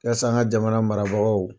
an ka jamana marabagaw